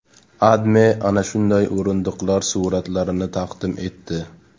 AdMe ana shunday o‘rindiqlar suratlarini taqdim etdi .